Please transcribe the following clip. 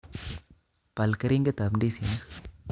Bal keringet tab ndisi 'nik